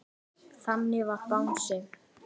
Þannig var Bangsi.